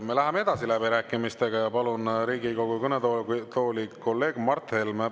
Me läheme edasi läbirääkimistega ja palun Riigikogu kõnetooli kolleeg Mart Helme.